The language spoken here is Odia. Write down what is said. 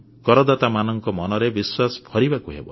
କରଦାତାମାନଙ୍କ ମନରେ ବିଶ୍ୱାସ ଭରିବାକୁ ହେବ